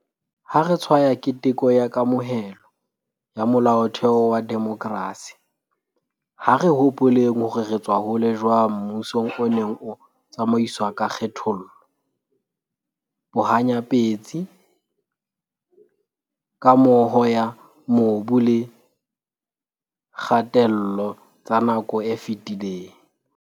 Ha re tshwaya keteko ya kamohelo ya Molaotheo wa demokrasi, ha re hopoleng hore re tswa hole jwang mmusong o neng o tsamaiswa ka kgethollo, bohanya-petsi, kamoho ya mobu le kgatello tsa nako e fetileng.